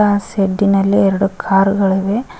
ಆ ಶೆಡ್ಡಿನಲ್ಲಿ ಎರಡು ಕಾರ್ ಗಳಿವೆ.